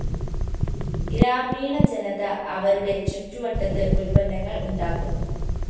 ഗ്രാമീണ ജനത അവരുടെ ചുറ്റുവട്ടത്ത് ഉല്‍പ്പന്നങ്ങള്‍ ഉണ്ടാക്കുന്നു